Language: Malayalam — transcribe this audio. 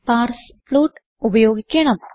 പാർസ്ഫ്ലോട്ട് ഉപയോഗിക്കണം